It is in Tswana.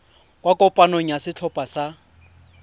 kwa kopanong ya setlhopha sa